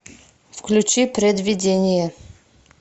включи предвидение